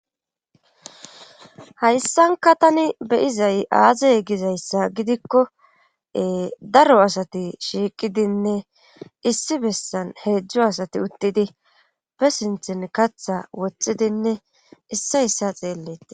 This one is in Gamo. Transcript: Hayssanka tani beyizay aazey gizayssa gidikkoe daro asati shiiqidinne issi bessan heedzdzo asati uttidi be sinthin katha wothhidinne issa issa xeelletii.